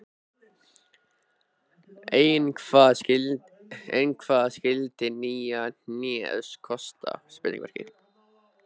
Ein hvað skyldi nýja hnéð kosta?